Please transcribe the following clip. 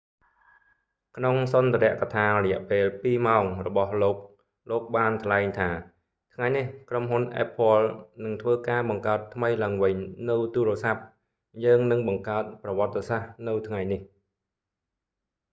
ក្នុងសុន្ទរកថារយៈពេល 2 ម៉ោងរបស់លោក លោកបានថ្លែងថា ថ្ងៃនេះ ក្រុមហ៊ុន apple នឹងធ្វើការបង្កើតថ្មីឡើងវិញនូវទូរស័ព្ទ យើងនឹងបង្កើតប្រវត្តិសាស្ត្រនៅថ្ងៃនេះ